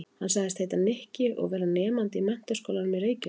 Hann sagðist heita Nikki og vera nemandi í Menntaskólanum í Reykjavík.